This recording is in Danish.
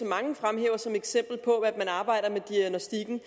mange fremhæver som eksempel på at man arbejder med diagnostikken